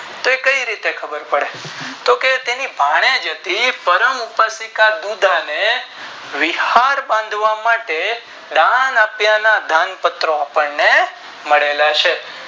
તે કે રીતે ખબર પડી તો કે તેની ભાણેજ હતી પામુપર દીદા ને વિહળ બાંધવા માટે દામપત્રો મળેલા છે